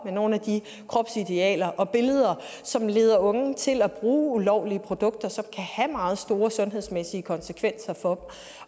med nogle af de kropsidealer og billeder som leder unge til at bruge ulovlige produkter som kan have meget store sundhedsmæssige konsekvenser for